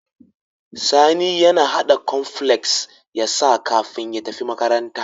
Sani ya hada cornflakes yasa kafin ya tafi makaranta